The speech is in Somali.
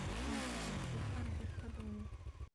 cuntadaas ku kari xirfad weyn